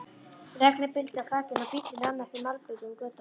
Regnið buldi á þakinu og bíllinn rann eftir malbikuðum götunum.